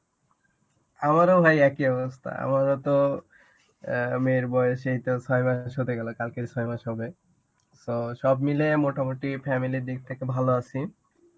আমারও ভাই একই অবস্থা. আমারও তো অ্যাঁ মেয়ের বয়স এই তো ছয় মাস হতে গেলো. কালকে ছয় মাস হবে. So, সব মিলে মোটামুটি family র দিক থেকে ভালো আছি.